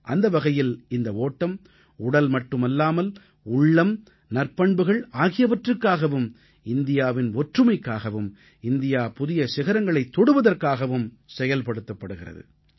அந்த வகையில் இந்த ஓட்டம் உடல் மட்டுமல்லாமல் உள்ளம் நற்பண்புகள் ஆகியவற்றுக்காகவும் இந்தியாவின் ஒற்றுமைக்காகவும் இந்தியா புதிய சிகரங்களைத் தொடுவதற்காகவும் செயல்படுத்தப்படுகிறது